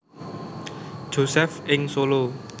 Josef ing Solo